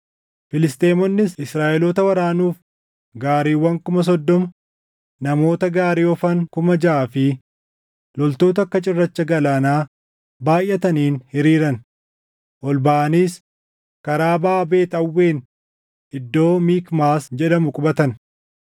Filisxeemonnis Israaʼeloota waraanuuf gaariiwwan kuma soddoma, namoota gaarii oofan kuma jaʼaa fi loltoota akka cirracha galaanaa baayʼataniin hiriiran. Ol baʼaniis karaa baʼa Beet Aawwen iddoo Mikmaas jedhamu qubatan.